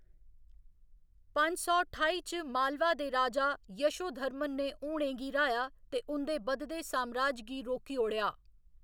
पंज सौ ठाई च मालवा दे राजा यशोधर्मन ने हूणें गी र्‌हाया ते उं'दे बधदे सामराज गी रोकी ओड़ेआ।